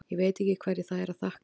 Ég veit ekki hverju það er að þakka.